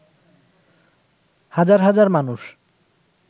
হাজার হাজার মানুষ